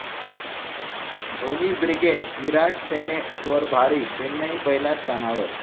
Dhoni brigade' 'Virat सेने'वर भारी, चेन्नई पहिल्या स्थानावर!